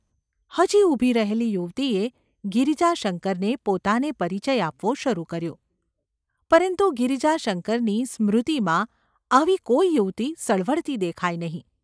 ’ હજી ઊભી રહેલી યુવતીએ ગિરિજાશંકરને પોતાને પરિચય આપવો શરૂ કર્યો, પરંતુ ગિરિજાશંકરની સ્મૃતિમાં આવી કોઈ યુવતી સળવળતી દેખાઈ નહિ.